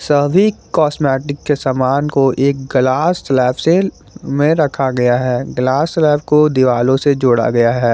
सभी कॉस्मेटिक के समान को एक ग्लास स्लैब से में रखा गया है ग्लास स्लैब को दीवालो से जोड़ा गया है।